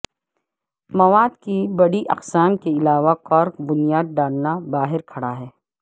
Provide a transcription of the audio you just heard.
مواد کی بڑی اقسام کے علاوہ کارک بنیاد ڈالنا باہر کھڑا ہے